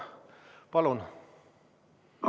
Palun!